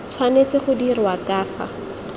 tshwanetse go dirwa ka fa